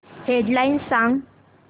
head lines सांग